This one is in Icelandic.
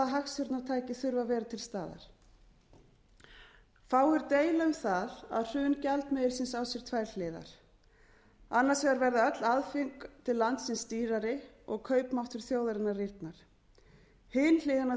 hagstjórnartæki þurfa að vera til staðar fáir deila um það að hrun gjaldmiðilsins á sér tvær hliðar annars vegar verða öll aðföng til landsins dýrari og kaupmáttur þjóðarinnar rýrnar hin hliðin á